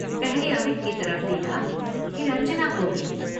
पहले अमित की तरफ देखा फिर अंजना को भी।